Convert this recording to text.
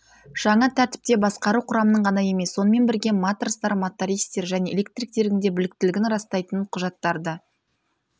жаңа тәртіпте басқару құрамының ғана емес сонымен бірге матростар мотористер және электриктердің де біліктілігін растайтын құжаттарды